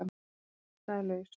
Óttinn er ástæðulaus.